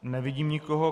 Nevidím nikoho.